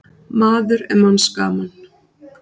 Maður er manns gaman.